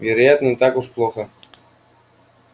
вероятно не так уж плохо